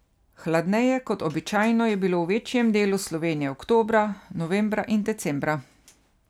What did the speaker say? Hladneje kot običajno je bilo v večjem delu Slovenije oktobra, novembra in decembra.